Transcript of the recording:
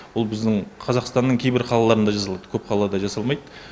бұл біздің қазақстанның кейбір қалаларында жасалады көп қалада жасалмайды